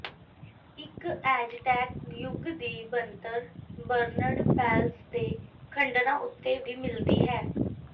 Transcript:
ਇਕ ਐਜ਼ਟੈਕ ਯੁੱਗ ਦੀ ਬਣਤਰ ਬਰਨਡ ਪੈਲਸ ਦੇ ਖੰਡਰਾਂ ਉੱਤੇ ਵੀ ਮਿਲਦੀ ਹੈ